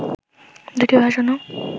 দুটি ভাষণও